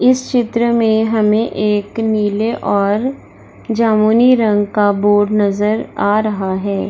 इस चित्र में हमे एक नीले और जामुनी रंग का बोर्ड नजर आ रहा है।